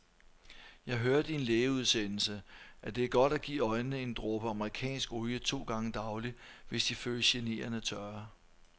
Jeg hørte i en lægeudsendelse, at det er godt at give øjnene en dråbe amerikansk olie to gange daglig, hvis de føles generende tørre.